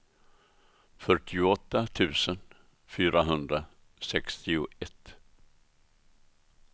fyrtioåtta tusen fyrahundrasextioett